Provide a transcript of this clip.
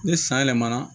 Ni san yɛlɛmana